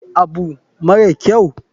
Me abu mara kyau?